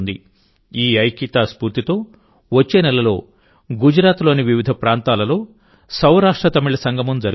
ఈ ఐక్యతా స్ఫూర్తితో వచ్చే నెలలో గుజరాత్లోని వివిధ ప్రాంతాల్లో సౌరాష్ట్రతమిళ సంగమం జరుగుతుంది